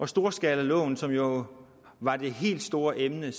storskalaloven som jo var det helt store emne